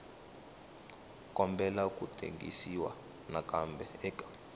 kombela ku tengisiwa nakambe eka